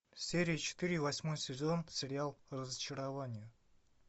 серия четыре восьмой сезон сериал разочарование